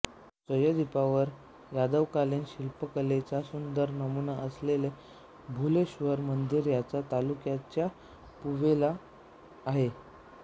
सह्यादि्पवर्तावर यादवकालीन शिल्पकलेचा सुंदर नमुना असलेले भुलेश्वर मंदिर याच तालुक्याच्या पुवेला आहे